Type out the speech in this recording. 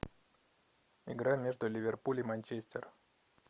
игра между ливерпуль и манчестер